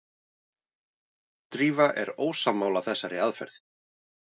Drífa er ósammála þessari aðferð.